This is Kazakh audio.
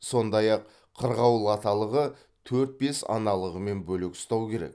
сондай ақ қырғауыл аталығы төрт бес аналығымен бөлек ұстау керек